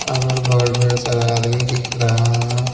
अगल-बगल ढेर सारा आदमी दिख रहा है।